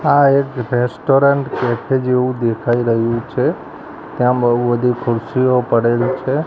આ એક restaurant cafe જેવુ દેખાય રહ્યુ છે ત્યાં બઉ બધી ખુરસીઓ પડેલ છે.